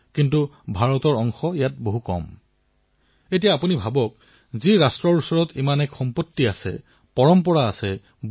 মই আমাৰ ষ্টাৰ্টআপ মিত্ৰসকলক আমাৰ নতুন উদ্যমীসকলক কও পুতলাৰ বাবে ঐক্যৱদ্ধ হওকআহক সকলোৱে মিলি খেলাসামগ্ৰী নিৰ্মাণ কৰো